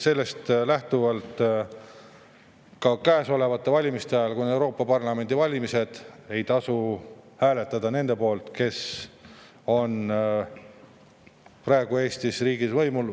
Sellest lähtuvalt ei tasu käesolevate valimiste ajal, kui on Euroopa Parlamendi valimised, hääletada nende poolt, kes on praegu Eestis riigis võimul.